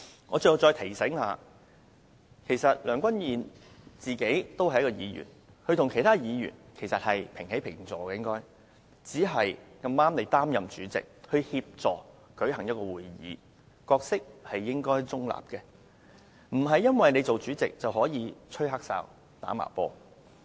我想提醒梁君彥主席，他本身也是一名議員，跟其他議員平起平坐，只是碰巧他擔任主席，負責主持會議，故應當保持中立，不能因為當上主席，便可以"吹黑哨"、"打茅波"的。